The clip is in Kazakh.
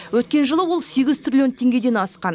өткен жылы ол сегіз триллион теңгеден асқан